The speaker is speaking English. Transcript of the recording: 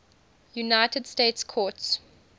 united states courts